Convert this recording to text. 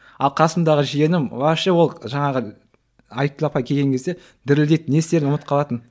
ал қасымдағы жиенім вообще ол жаңағы айткүл апай келген кезде дірілдейді не істерін ұмытып қалатын